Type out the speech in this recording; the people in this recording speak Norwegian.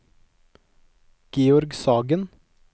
Georg Sagen